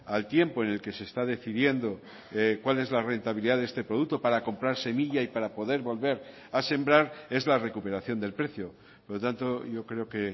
al tiempo en el que se está decidiendo cuál es la rentabilidad de este producto para comprar semilla y para poder volver a sembrar es la recuperación del precio por lo tanto yo creo que